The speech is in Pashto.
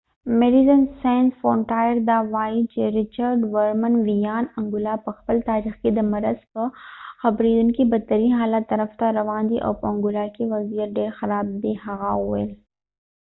د medecines sans frontiere ویاند richard veerman وایی انګولا په خپل تاریخ کې د مرض د خپریدنې بدترین حالت طرف ته روان دی او په انګولا کې وضعیت ډیر خراب دی هغه وویل